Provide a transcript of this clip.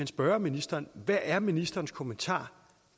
spørge ministeren hvad er ministerens kommentar